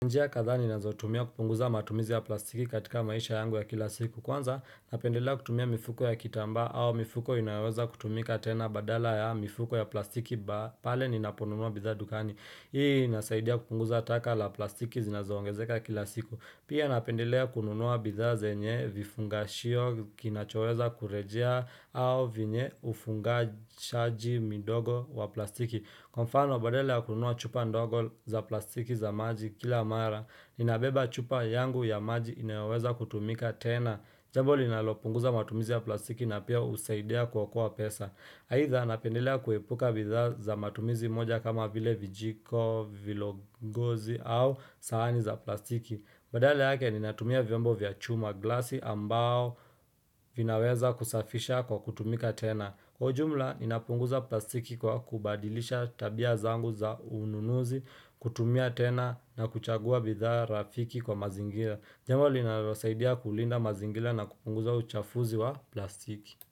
Njia kadha ninazo tumia kupunguza matumizi ya plastiki katika maisha yangu ya kila siku Kwanza napendelea kutumia mifuko ya kitamba au mifuko inaweza kutumika tena badala ya mifuko ya plastiki pale ninaponunua bidha dukani Hii inasaidia kupunguza taka la plastiki zinazoongezeka kila siku Pia napendelea kununua bidha zenye vifungashio kinachoweza kurejea au venye ufungashaji midogo wa plastiki Kwa mfano badala ya kunua chupa ndogo za plastiki za maji kila mara, ninabeba chupa yangu ya maji inaweza kutumika tena. Jambo linalopunguza matumizi ya plastiki na pia husaidia kuokoa pesa. Aidha napendelea kuepuka bidhaa za matumizi moja kama vile vijiko, vilo gozi au sahani za plastiki. Badala yake ninatumia vyombo vya chuma glasi ambao vinaweza kusafisha kwa kutumika tena. Kwa ujumla, inapunguza plastiki kwa kubadilisha tabia zangu za ununuzi, kutumia tena na kuchagua bidha rafiki kwa mazingira. Jambo linalo saidia kulinda mazingira na kupunguza uchafuzi wa plastiki.